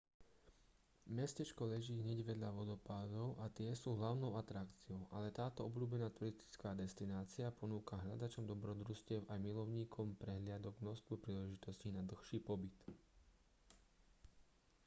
mestečko leží hneď vedľa vodopádov a tie sú hlavnou atrakciou ale táto obľúbená turistická destinácia ponúka hľadačom dobrodružstiev aj milovníkom prehliadok množstvo príležitostí na dlhší pobyt